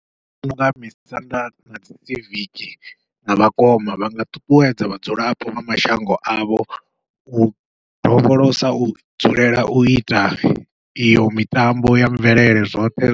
Nṋe ndi vhona unga misanda nadzi siviki na vhakoma vha nga ṱuṱuwedza vhadzulapo vha mashango avho, u dovholosa u dzulela uita iyo mitambo ya mvelele zwoṱhe